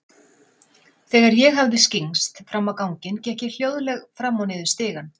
Þegar ég hafði skyggnst fram á ganginn, gekk ég hljóðleg fram og niður stigann.